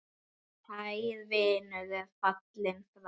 Kær vinur er fallinn frá.